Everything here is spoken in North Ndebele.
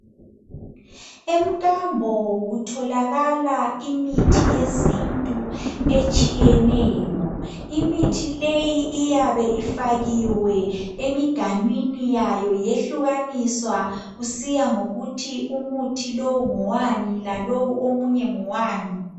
Emkambo kutholakala imithi yesintu etshiyeneyo. Imithi leyo iyabe ifakiwe eminganwini yayo yehlukaniswa kusiya ngokuthi umuthi lowo ngowani lalowo omunye ngowani.